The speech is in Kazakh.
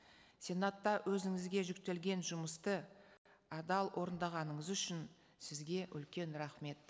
сенатта өзіңізге жүктелген жұмысты адал орындағаныңыз үшін сізге үлкен рахмет